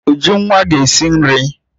Ujunwa ga esi nri